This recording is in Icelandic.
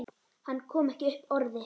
Hann kom ekki upp orði.